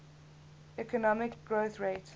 economic growth rate